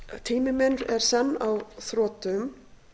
tími minn er senn á þrotum